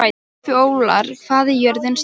Fjólar, hvað er jörðin stór?